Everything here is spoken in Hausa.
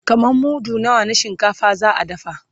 kaman mudu nawa na shinkafa za'a dafa?